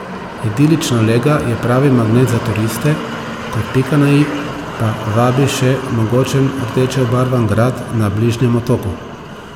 Idilična lega je pravi magnet za turiste, kot pika na i pa vabi še mogočen rdeče obarvan grad na bližnjem otoku.